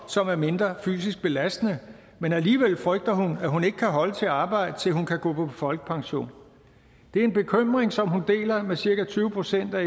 som er mindre fysisk belastende men alligevel frygter hun at hun ikke kan holde til at arbejde til hun kan gå på folkepension det er en bekymring som hun deler med cirka tyve procent af